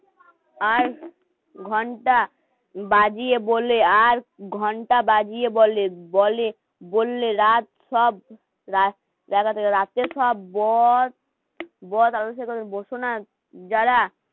আর ঘন্টা বাজিয়ে বলে আর ঘণ্টা বাজিয়ে বলে বলে বললে রাত সব জায়গা থেকে রাতে সব বদ,